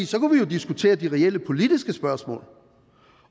så kunne vi jo diskutere de reelle politiske spørgsmål